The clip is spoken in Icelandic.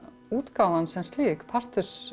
útgáfan sem slík